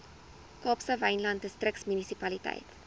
kaapse wynland distriksmunisipaliteit